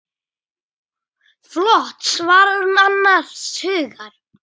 Flott, svarar hún annars hugar.